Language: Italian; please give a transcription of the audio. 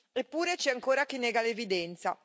Eppure, c'è ancora chi nega l'evidenza.